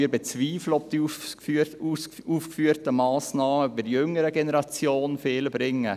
Wir bezweifeln, ob die aufgeführten Massnahmen bei der jüngeren Generation viel bringen.